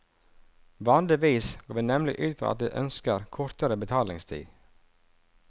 Vanligvis går vi nemlig ut fra at de ønsker kortere betalingstid.